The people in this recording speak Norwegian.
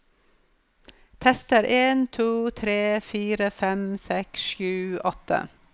Tester en to tre fire fem seks sju åtte